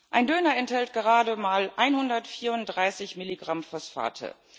Ein Döner enthält gerade mal 134 Milligramm Phosphate.